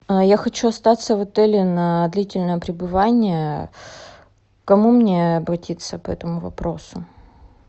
я хочу остаться в отеле на длительное пребывание к кому мне обратиться по этому вопросу